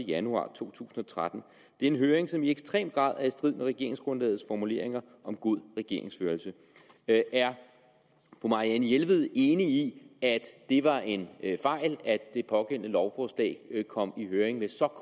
januar to tusind og tretten det en høring som i ekstrem grad er i strid med regeringsgrundlagets formuleringer om god regeringsførelse er fru marianne jelved enig i at det var en fejl at det pågældende lovforslag kom i høring med så